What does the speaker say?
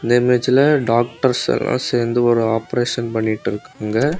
இந்த இமேஜ்ல டாக்டர்ஸ் எல்லா சேர்ந்து ஒரு ஆபரேஷன் பண்ணிட்ருக்காங்க.